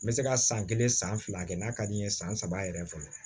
N bɛ se ka san kelen san fila kɛ n'a ka di n ye san saba yɛrɛ fɛ